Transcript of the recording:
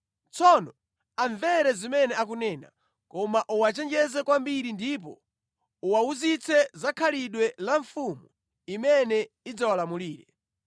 Tsono amvere zimene akunena, koma uwachenjeze kwambiri ndipo uwawuzitse za khalidwe la mfumu imene idzawalamulire.”